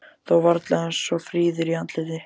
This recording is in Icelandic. Þó varla eins fríður í andliti.